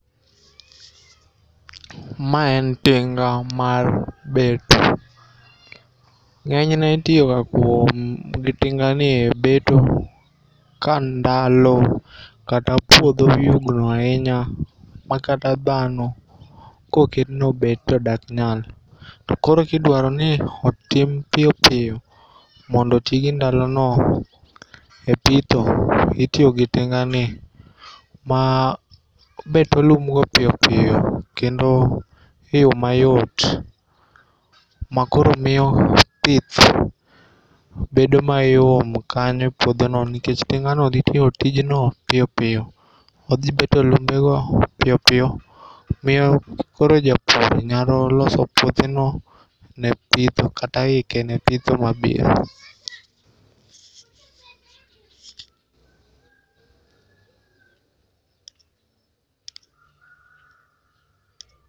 Mae en tinga mar beto, ng'enyne itiyoga kuom gi tingani e beto ka ndalo kata puotho oyugno ahinya ma kata dhano koket ni obet to ok nyal, to koro kidwarooni otim piyo piyo, mondo iti gi ndalono e pitho to itiyo gi tingani ma beto lumno piyo piyo kendo e yo mayot, ma koro miyo pith bedo mayom kanyo e puothono nikech tingano thi tiyo tijno piyo piyo othi beto lumbego piyo piyo, miyo koro ja pur nyalo loso puotheno ne pitho kata hike ne pitho mabiro.